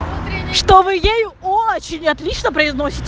что вы ей очень отлично произносите